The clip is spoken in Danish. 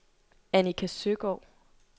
Annika Søgaard